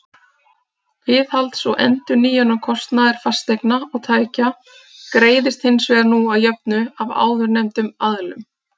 Viðhalds og endurnýjunarkostnaður fasteigna og tækja greiðist hins vegar nú að jöfnu af áðurnefndum aðilum.